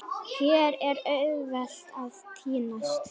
Hér er auðvelt að týnast.